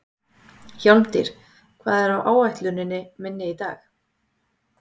Hjálmtýr, hvað er á áætluninni minni í dag?